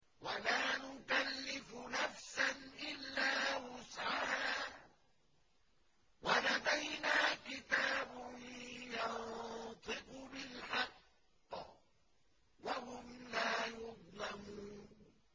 وَلَا نُكَلِّفُ نَفْسًا إِلَّا وُسْعَهَا ۖ وَلَدَيْنَا كِتَابٌ يَنطِقُ بِالْحَقِّ ۚ وَهُمْ لَا يُظْلَمُونَ